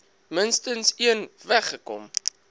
minstens een weggekom